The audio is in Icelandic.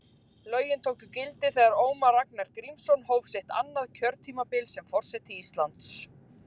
Lögin tóku gildi þegar Ólafur Ragnar Grímsson hóf sitt annað kjörtímabil sem forseti Íslands.